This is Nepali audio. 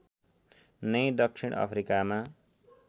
नै दक्षिण अफ्रिकामा